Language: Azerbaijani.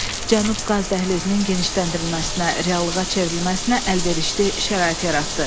Cənub Qaz Dəhlizinin genişləndirilməsinə, reallığa çevrilməsinə əlverişli şərait yaratdı.